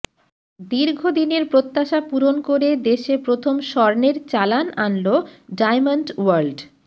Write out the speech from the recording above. দীর্ঘদিনের প্রত্যাশা পূরণ করে দেশে প্রথম স্বর্ণের চালান আনল ডায়মন্ড ওয়ার্ল্ড